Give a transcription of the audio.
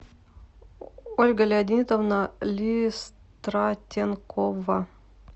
ольга леонидовна листратенкова